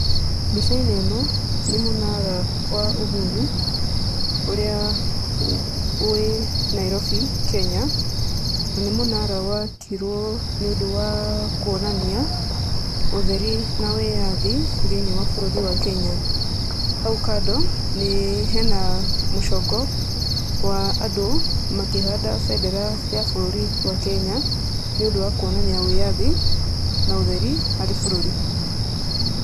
Mbica-inĩ ĩno nĩ mũnara wa uhuru, ũrĩa wĩ Nairobi Kenya na nĩ mũnara wakirwo nĩũndũ wa kũonania ũtheri na wĩyathi thĩiniĩ wa bũrũri wa Kenya. Hau kando hena mũcongo wa andũ makĩhanda bendera ya bũrũri wa Kenya, nĩũndũ wa kũonania wĩyathi na ũtheri harĩ bũrũri.